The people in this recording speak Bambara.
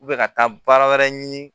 ka taa baara wɛrɛ ɲini